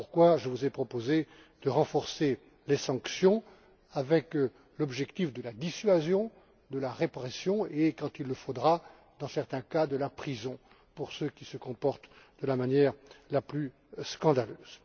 Voilà pourquoi je vous ai proposé de renforcer les sanctions, avec pour objectifs la dissuasion, la répression et, quand il le faudra, dans certains cas, la prison pour ceux qui se comportent de la manière la plus scandaleuse.